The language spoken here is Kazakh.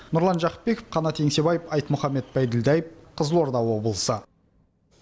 нұрлан жақыпбеков қанат еңсебаев айтмұхамед байділдаев қызылорда облысы